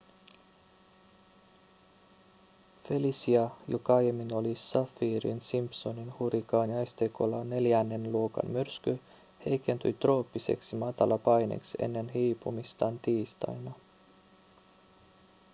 felicia joka aiemmin oli saffirin-simpsonin hurrikaaniasteikolla neljännen luokan myrsky heikentyi trooppiseksi matalapaineeksi ennen hiipumistaan tiistaina